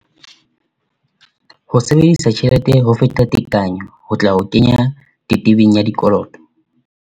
"Ho sebedisa tjhelete ho feta tekanyo ho tla o kenya tebetebeng ya dikoloto'."